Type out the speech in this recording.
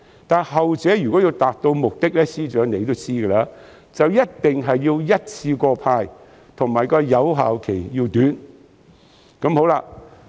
司長，後者要達到目的，你也知道一定要一次過派發，而且有效期要短。